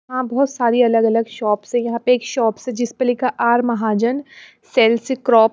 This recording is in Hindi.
हां बहुत सारी अलग-अलग शॉप्स है यहां पे एक शॉप्स है जिस पे लिखा आर महाजन सेल्स क्रॉप --